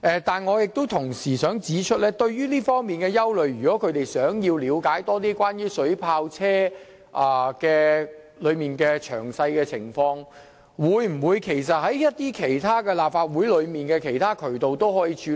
但是，我同時想指出，就這方面的憂慮，他們如欲進一步了解水炮車的詳情，是否可循立法會的其他渠道處理？